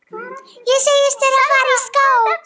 Ég segist þurfa að fara í skó.